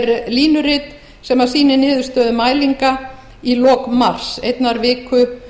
er línurit sem sýnir niðurstöðu mælinga í lok mars einnar viku